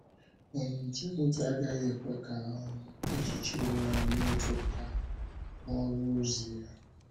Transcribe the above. um Timoti agaghị ekwe ka um echiche onwe ya metụta ọrụ ozi ya.